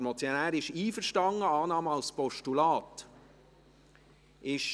Ach so, der Motionär ist mit der Annahme als Postulat einverstanden.